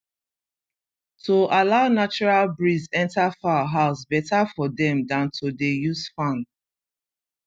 to allow natural breeze enter fowl house better for dem dan to dey use fan